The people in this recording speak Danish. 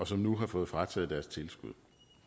som nu har fået frataget deres tilskud